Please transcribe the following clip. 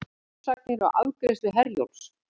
Uppsagnir á afgreiðslu Herjólfs